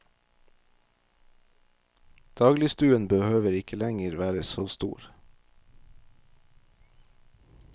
Dagligstuen behøver ikke lenger være så stor.